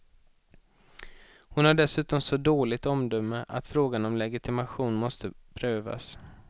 Hon har dessutom så dåligt omdöme att frågan om legitimation måste prövas.